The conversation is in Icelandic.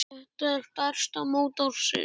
Þetta er stærsta mót ársins.